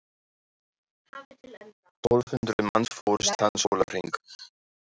Tólf hundruð manns fórust þann sólarhring.